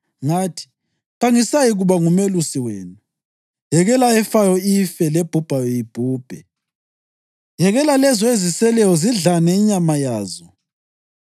ngathi, “Kangisayikuba ngumelusi wenu. Yekela efayo ife, lebhubhayo ibhubhe. Yekela lezo eziseleyo zidlane inyama yazo.”